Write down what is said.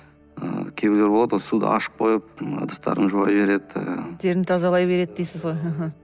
ы кейбіреулері болады ғой суды ашып қойып ыдыстарын жуа береді тазалай береді дейсіз ғой